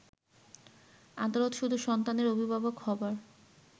আদালত শুধু সন্তানের অভিভাবক হবার